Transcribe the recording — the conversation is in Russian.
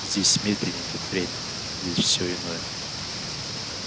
здесь медленнее идёт время здесь всё иное